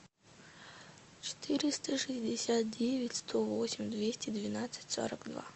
четыреста шестьдесят девять сто восемь двести двенадцать сорок два